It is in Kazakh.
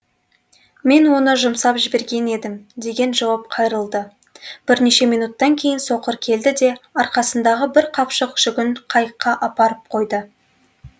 мен оны жұмсап жіберген едім деген жауап қайырылды бірнеше минуттан кейін соқыр келді де арқасындағы бір қапшық жүгін қайыққа апарып қойды